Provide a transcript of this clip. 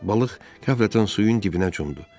Balıq qəflətən suyun dibinə cumdu.